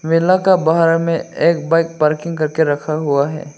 मेला का बाहर मे एक बाइक पार्किंग करके रखा हुआ है।